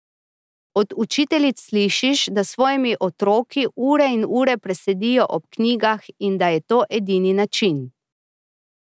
Od učiteljic slišiš, da s svojimi otroki ure in ure presedijo ob knjigah in da je to edini način.